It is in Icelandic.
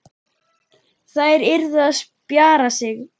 Þær yrðu að spjara sig.